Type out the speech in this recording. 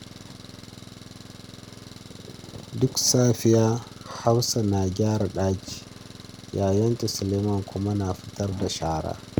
Duk safiya, Hafsat na gyara ɗaki, yayanta Aliyu kuma na fitar da shara.